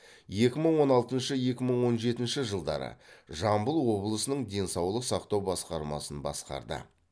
екі мың он алтыншы екі мың он жетінші жылдары жамбыл облысының денсаулық сақтау басқармасын басқарды